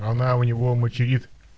она у него материт